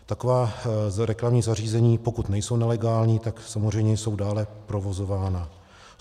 Taková reklamní zařízení, pokud nejsou nelegální, tak samozřejmě jsou dále provozována.